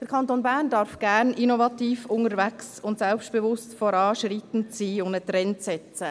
Der Kanton Bern darf gerne innovativ unterwegs und selbstbewusst voranschreitend sein und einen Trend setzen.